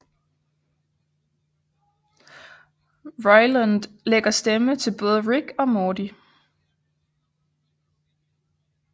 Roiland lægger stemme til både Rick og Morty